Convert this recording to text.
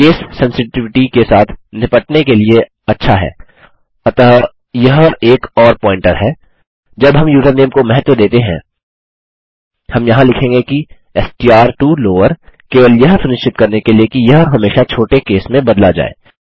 case sensitivity के साथ निपटने के लिए अच्छा है अतः यह एक और प्वॉइंटर है जब हम यूज़रनेम को महत्व देते हैं हम यहाँ लिखेंगे कि एसटीआर टो लॉवर केवल यह सुनिश्चित करने के लिए कि यह हमेशा छोटे केस में बदला जाए